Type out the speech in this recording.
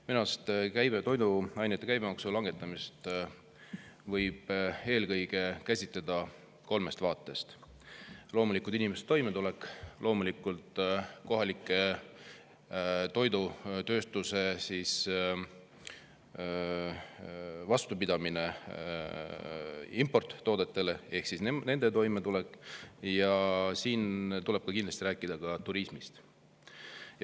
Minu arust võib toiduainete käibemaksu langetamist käsitleda eelkõige kolmest vaatest: loomulikult inimeste toimetulek, loomulikult kohaliku toidutööstuse importtoodetega ehk toimetulek ja kindlasti tuleb rääkida ka turismist.